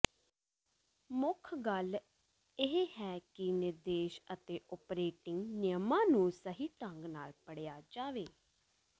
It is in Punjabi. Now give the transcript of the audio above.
ਮੁੱਖ ਗੱਲ ਇਹ ਹੈ ਕਿ ਨਿਰਦੇਸ਼ ਅਤੇ ਓਪਰੇਟਿੰਗ ਨਿਯਮਾਂ ਨੂੰ ਸਹੀ ਢੰਗ ਨਾਲ ਪੜ੍ਹਿਆ ਜਾਵੇ